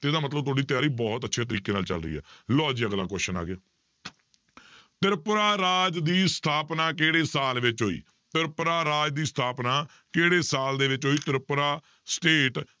ਤੇ ਇਹਦਾ ਮਤਲਬ ਤੁਹਾਡੀ ਤਿਆਰੀ ਬਹੁਤ ਅੱਛੇ ਤਰੀਕੇ ਨਾਲ ਚੱਲ ਰਹੀ ਹੈ ਲਓ ਜੀ ਅਗਲਾ question ਆ ਗਿਆ ਤ੍ਰਿਪੁਰਾ ਰਾਜ ਦੀ ਸਥਾਪਨਾ ਕਿਹੜੇ ਸਾਲ ਵਿੱਚ ਹੋਈ, ਤ੍ਰਿਪੁਰਾ ਰਾਜ ਦੀ ਸਥਾਪਨਾ ਕਿਹੜੇ ਸਾਲ ਦੇ ਵਿੱਚ ਹੋਈ ਤ੍ਰਿਪੁਰਾ state